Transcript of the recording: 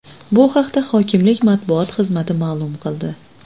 Bu haqda hokimlik matbuot xizmati ma’lum qildi .